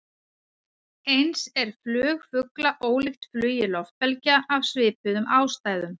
Eins er flug fugla ólíkt flugi loftbelgja, af svipuðum ástæðum.